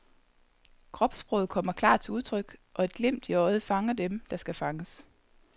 Kropssproget kommer klart til udtryk og et glimt i øjet fanger dem, der skal fanges.